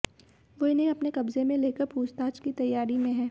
वो इन्हें अपने कब्जे में लेकर पूछताछ की तैयारी में है